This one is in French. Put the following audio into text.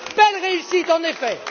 Belle réussite, en effet!